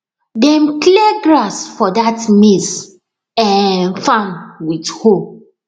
dem clear grass for that maize um farm with hoe